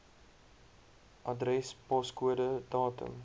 adres poskode datum